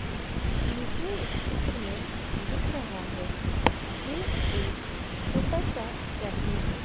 मुझे इस चित्र में दिख रहा है ये एक छोटा सा कैफे हैं।